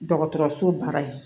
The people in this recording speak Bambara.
Dɔgɔtɔrɔso baara ye